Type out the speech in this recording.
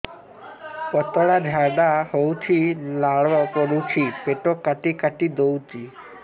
ପତଳା ଝାଡା ହଉଛି ଲାଳ ପଡୁଛି ପେଟ କାଟି କାଟି ଦଉଚି